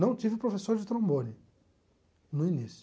Não tive professor de trombone no início.